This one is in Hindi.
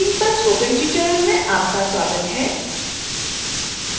cataloging पर स्पोकन ट्यूटोरियल में आपका स्वागत है